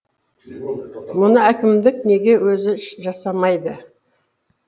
мұны әкімдік неге өзі жасамайды